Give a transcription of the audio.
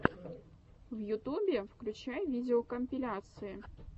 в ютубе включай видеокомпиляции